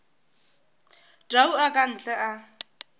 tau a ka ntle a